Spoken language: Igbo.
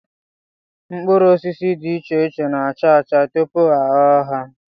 Mkpụrụosisi dị iche iche na-acha acha tupu a ghọọ ha